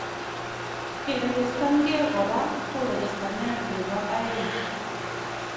Kerechestankee koraa ko rechestanet nebo aeng